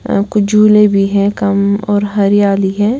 अ कुछ झूले भी हैं कम और हरियाली है।